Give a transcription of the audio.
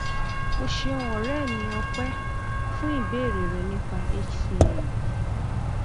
o ṣeun ọrẹ mi ọpẹ fún ìbéèrè rẹ nípa hcm